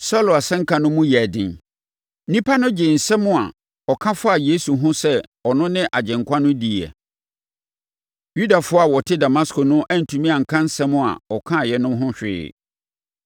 Saulo asɛnka no mu yɛɛ den; nnipa no gyee nsɛm a ɔka faa Yesu ho sɛ ɔno ne Agyenkwa no diiɛ. Yudafoɔ a wɔte Damasko no antumi anka nsɛm a ɔkaeɛ no ho hwee.